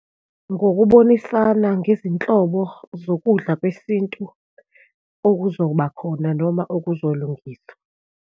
Ngokubonisana ngezinhlobo zokudla kwesintu okuzoba khona noma okuzolungiswa.